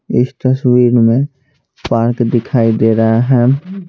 इस तस्वीर में पार्क दिखाई दे रहा है।